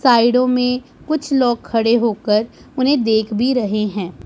साइडो में कुछ लोग खड़े होकर उन्हें देख भी रहे हैं।